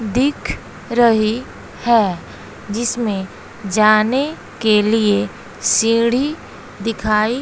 दिख रही है जिसमें जाने के लिए सीढ़ी दिखाई--